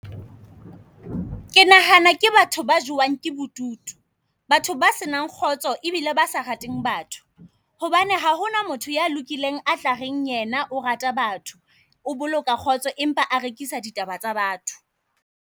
Ke nahana ke batho ba jowang ke bodutu. Batho ba se nang kgotso ebile ba sa rateng batho, hobane ha hona motho ya lokileng a tlareng yena o rata batho. O boloka kgotso empa a rekisa ditaba tsa batho.